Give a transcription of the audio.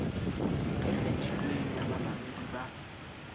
e kgethilweng ya bamamedi ba